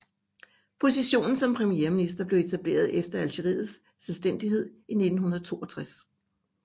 Positionen som premierminister blev etableret efter Algeriets selvstændighed i 1962